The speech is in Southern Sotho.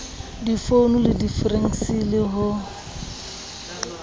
difounu le difekse le ho